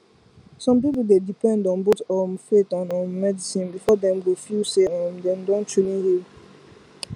some people dey depend on both um faith and um medicine before dem go feel say um dem don truly heal